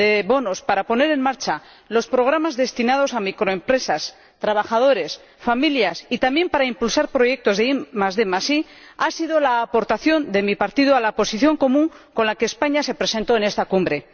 bonos para poner en marcha los programas destinados a microempresas, trabajadores y familias, y también para impulsar proyectos de IDI ha sido la aportación de mi partido a la posición común con la que España se presentó en esta Cumbre.